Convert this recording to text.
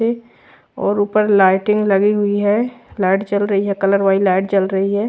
और ऊपर लाइटिंग लगी हुई है लाइट जल रही है कलर वाली लाइट जल रही है।